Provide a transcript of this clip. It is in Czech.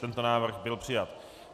Tento návrh byl přijat.